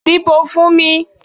Díbó fún mi.